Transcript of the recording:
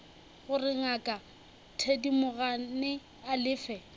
gore ngaka thedimogane a lefe